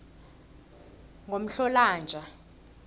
ngomhlolanja